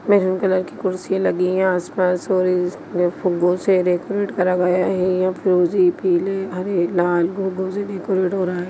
Maroon colour की कुर्सिये लगी है आसपास फुगों से डेकुरेट करा गया है यहाँ फूरोजी पीले हरे लाल फुगों से डेकुरेट हो रहा है।